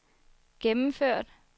gennemført